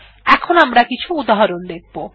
এখন আমরা কিছু উদাহরণ দেখব